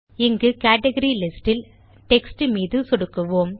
இங்கு category list இல் text மீது சொடுக்குவோம்